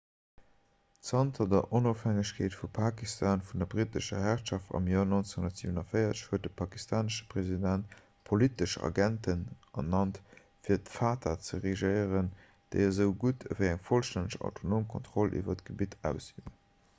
zanter der onofhängegkeet vu pakistan vun der brittescher herrschaft am joer 1947 huet de pakistanesche president politesch agenten ernannt fir d'fata ze regéieren déi esou gutt ewéi eng vollstänneg autonom kontroll iwwer d'gebitt ausüben